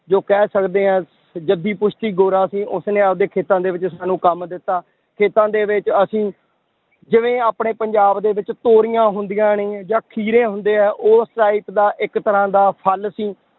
ਜੋ ਕਹਿ ਸਕਦੇ ਹਾਂ ਜੱਦੀ ਪੁਸ਼ਤੀ ਗੋਰਾ ਸੀ ਉਸਨੇ ਆਪਦੇ ਖੇਤਾਂ ਦੇ ਵਿੱਚ ਸਾਨੂੰ ਕੰਮ ਦਿੱਤਾ, ਖੇਤਾਂ ਦੇ ਵਿੱਚ ਅਸੀਂ ਜਿਵੇਂ ਆਪਣੇ ਪੰਜਾਬ ਦੇ ਵਿੱਚ ਤੋਰੀਆਂ ਹੁੰਦੀਆਂ ਨੇ ਜਾਂ ਖੀਰੇ ਹੁੰਦੇ ਆ ਉਸ type ਦਾ ਇੱਕ ਤਰ੍ਹਾਂ ਦਾ ਫਲ ਸੀ